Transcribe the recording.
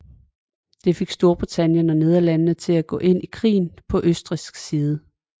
Det fik Storbritannien og Nederlandene til at gå ind i krigen på østrigsk side